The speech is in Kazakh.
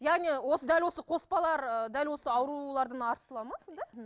яғни осы дәл осы қоспалар ы дәл осы аурудардан артылады ма сонда